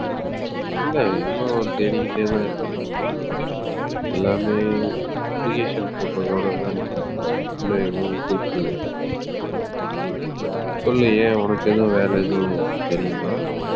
இல்லை இன்னும் தேடிக்கிட்டேதான் இருக்கேன் எல்லாமே application போட்டதோடதான் நிக்குது. இன்னும் எதுவும் கூப்பிடலை. சொல்லு ஏன் உனக்கு எதுவும் வேலை எதுவும் தெரியுமா